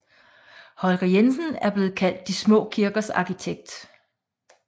Holger Jensen er blevet kaldt de små kirkers arkitekt